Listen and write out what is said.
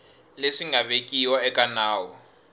leswi nga vekiwa eka nawu